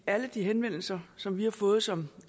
alle de henvendelser som vi har fået som